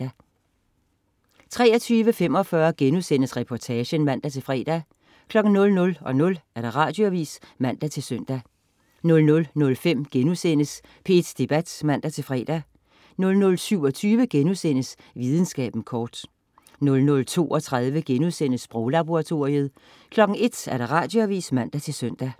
23.45 Reportagen* (man-fre) 00.00 Radioavis (man-søn) 00.05 P1 Debat* (man-fre) 00.27 Videnskaben kort* 00.32 Sproglaboratoriet* 01.00 Radioavis (man-søn)